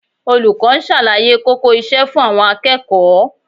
Olùkọ́ ń ṣàlàyé kókó iṣẹ́ fún àwọn akẹ́kọ̀ọ́